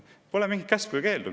Pole mingit käsku ega keeldu.